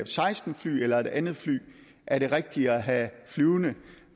seksten fly eller et andet fly er det rigtige fly at have flyvende